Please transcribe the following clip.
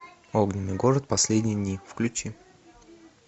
огненный город последние дни включи